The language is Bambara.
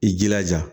I jilaja